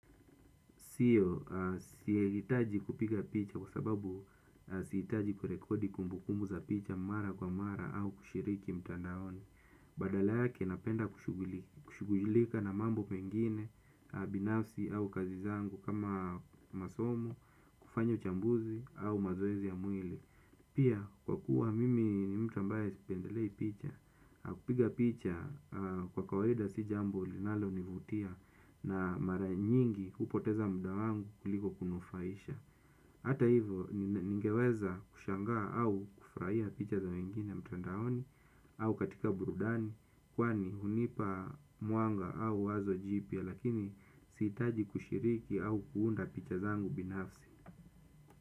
Sio, siitaji kupiga picha kwa sababu siitaji kurekodi kumbukumu za picha mara kwa mara au kushiriki mtandaoni. Badala yake napenda kushugulika na mambo mengine, binafsi au kazi zangu kama masomo, kufanya uchambuzi au mazoezi ya mwili. Pia kwa kuwa mimi ni mtu ambaye sipendelei picha, kupiga picha kwa kawaida si jambo linalonivutia. Na mara nyingi hupoteza muda wangu kuliko kunufaisha. Hata hivo ningeweza kushangaa au kufurahia picha za wengine mtandaoni au katika burudani kwani hunipa mwanga au wazo jipya, lakini siitaji kushiriki au kuunda picha zangu binafsi.